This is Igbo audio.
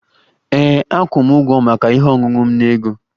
Ee, akwụ m ụgwọ maka ihe ọṅụṅụ m na ego